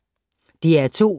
DR2